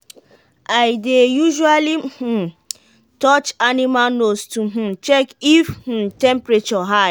i dey usually um touch animal nose to um check if um temperature high.